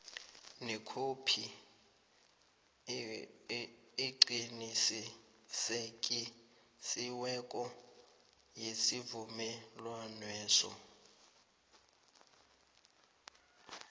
nekhophi eqinisekisiweko yesivumelwaneso